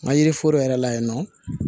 Nka yiri foro yɛrɛ la yen nɔ